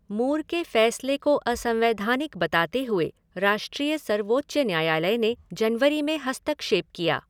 मूर के फैसले को असंवैधानिक बताते हुए राष्ट्रीय सर्वोच्च न्यायालय ने जनवरी में हस्तक्षेप किया।